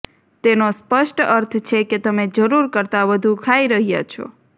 તેનો સ્પષ્ટ અર્થ છે કે તમે જરૂર કરતા વધુ ખાઈ રહ્યા છો